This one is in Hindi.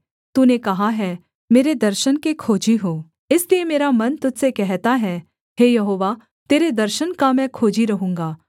तूने कहा है मेरे दर्शन के खोजी हो इसलिए मेरा मन तुझ से कहता है हे यहोवा तेरे दर्शन का मैं खोजी रहूँगा